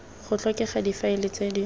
go tlhokega difaele tse di